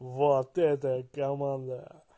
вот это команда